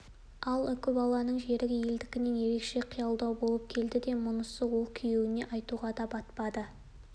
ал үкібаланың жерігі елдікінен ерекше қиялилау болып келді де мұнысын ол күйеуіне айтуға да батпады